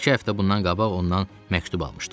İki həftə bundan qabaq ondan məktub almışdım.